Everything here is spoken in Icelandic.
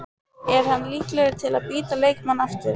Er hann líklegur til að bíta leikmann aftur?